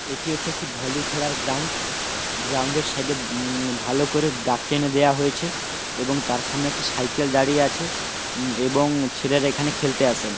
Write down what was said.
এটি হচ্ছে একটি ভলি খেলার গ্রাউন্ড গ্রাউন্ড এর সাইড উম ভালো করে দাগ টেনে দেয়া হয়েছে। এবং তার সামনে একটি সাইকেল দাঁড়িয়ে আছে। এবং ছেলেরা এখানে খেলতে আসেন।